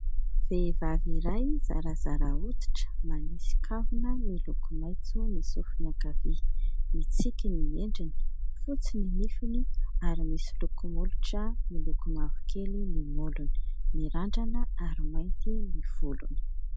Vehivavy iray zarazara hoditra manisy kavina miloko maintso ny sofiny ankavia, mitsiky ny endriny, fotsy ny nifiny ary misy lokomolotra miloko mavokely ny molony, mirandrana ary mainty ny volony.